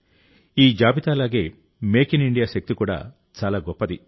ఈ జాబితా లాగే మేక్ ఇన్ ఇండియా శక్తి కూడా చాలా గొప్పది